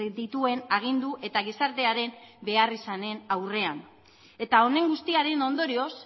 dituen agindu eta gizartearen beharrizanen aurrean eta honen guztiaren ondorioz